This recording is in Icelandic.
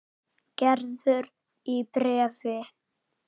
Gerður í bréfi.